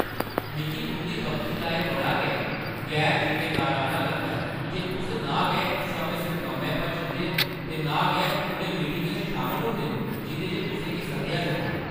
मिगी तुंʼदी बक्खी दा एह्‌ बड़ा गै गैर-जिम्मेदाराना लगदा ऐ जे तुस ना गै समें सिर कम्मै पर जंदे ओ ते ना गै उ'नें मीटिङें च शामल होंदे ओ जिं'दे च तुसें गी सद्देआ जंदा ऐ।